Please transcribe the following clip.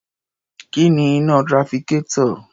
Kí ni iná trafficator?